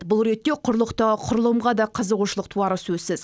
бұл ретте құрлықтағы құрылымға да қызығушылық туары сөзсіз